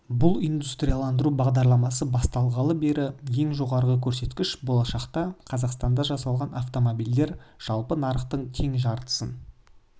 бұл индустрияландыру бағдарламасы басталғалы бергі ең жоғарғы көрсеткіш болашақта қазақстанда жасалған автомобильдер жалпы нарықтың тең жартысын